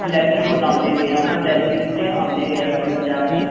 ਵਲੈਤੀ ਫੁੱਲ ਆਉਂਦੇ ਗੇ ਹੈਨਾ ਵਲੈਤੀ ਬੂਟੇ ਆਉਂਦੇ ਗਏ ਆਪਣੇ ਪੰਜਾਬ ਚ।